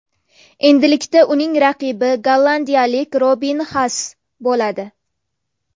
Endilikda uning raqibi gollandiyalik Robin Xaas bo‘ladi.